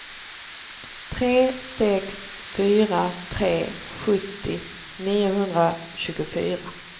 tre sex fyra tre sjuttio niohundratjugofyra